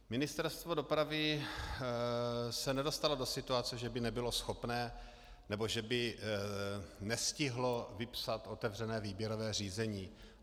Ministerstvo dopravy se nedostalo do situace, že by nebylo schopné nebo že by nestihlo vypsat otevřené výběrové řízení.